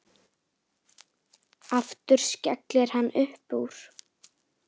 Aftur skellir hann upp úr.